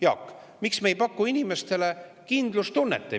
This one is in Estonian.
Jaak, miks me ei paku inimestele kindlustunnet?